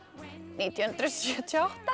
nítján hundruð sjötíu og átta